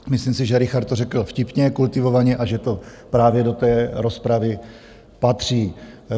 Myslím si, že Richard to řekl vtipně, kultivovaně a že to právě do té rozpravy patří.